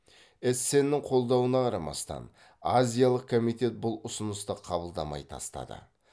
эссеннің қолдауына қарамастан азиялық комитет бұл ұсынысты қабылдамай тастады